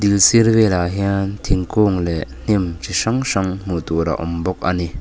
sir vel ah hian thingkung leh hnim chi hrang hrang hmuh tur a awm bawk ani.